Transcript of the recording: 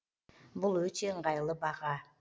бұл өте ыңғайлы баға